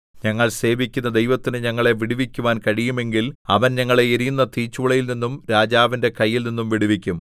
ഞങ്ങൾ സേവിക്കുന്ന ദൈവത്തിന് ഞങ്ങളെ വിടുവിക്കുവാൻ കഴിയുമെങ്കിൽ അവൻ ഞങ്ങളെ എരിയുന്ന തീച്ചൂളയിൽനിന്നും രാജാവിന്റെ കൈയിൽനിന്നും വിടുവിക്കും